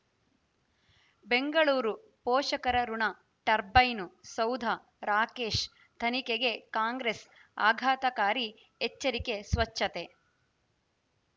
ಬೆಂಗಳೂರು ಪೋಷಕರಋಣ ಟರ್ಬೈನು ಸೌಧ ರಾಕೇಶ್ ತನಿಖೆಗೆ ಕಾಂಗ್ರೆಸ್ ಆಘಾತಕಾರಿ ಎಚ್ಚರಿಕೆ ಸ್ವಚ್ಛತೆ